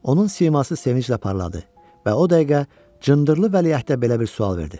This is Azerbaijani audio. Onun siması sevinclə parladı və o dəqiqə cındırlı vəliəhdə belə bir sual verdi.